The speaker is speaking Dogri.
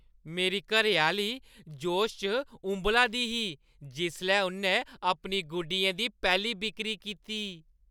मेरी घरैआह्‌ली जोशै च उंबला दी ही जिसलै उʼन्नै अपनी गुड्डियें दी पैह्‌ली बिक्करी कीती।